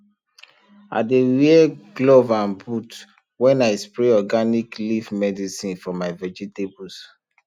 i dey wear glove and boot when i spray organic leaf medicine for my vegetables